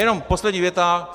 Jenom poslední věta.